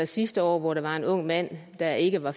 sidste år hvor der var en ung mand der ikke var